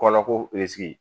Kɔlɔ ko